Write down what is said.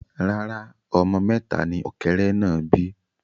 Rárá, ọmọ mẹta ni ọ̀kẹ́rẹ́ náà bí